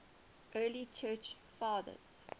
early church fathers